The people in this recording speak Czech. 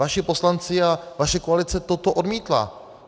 Vaši poslanci a vaše koalice toto odmítla.